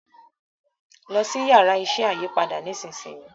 lọ si Yàrá iṣẹ́ ayípadà nísìsiyìí!